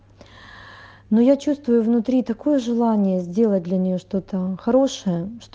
ну я чувствую внутри такое желание сделать для нее что-то хорошее